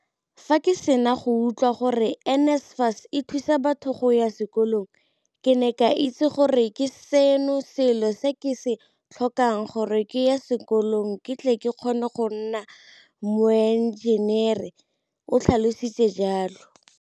Fa ke sena go utlwela gore NSFAS e thusa batho go ya sekolong, ke ne ka itse gore ke sona selo se ke se tlhokang gore ke ye sekolong ke tle ke kgone go nna moenjenere o tlhalositse jalo.